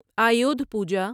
Ayudha Puja